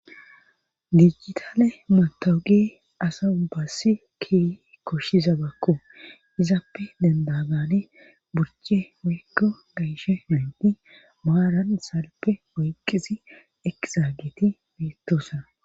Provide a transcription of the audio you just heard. Dijitale matawuge asa bassi ki koshshiza bakko izappe dendagane burce woykko gaishe mendi maaran salpe oyqqisi ekizaageti beettoosa